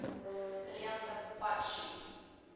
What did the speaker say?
лента падший